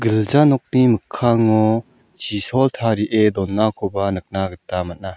gilja nokni mikkango chisol tarie donakoba nikna gita man·a.